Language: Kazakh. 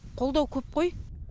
қолдау көп қой